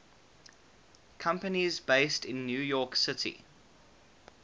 companies based in new york city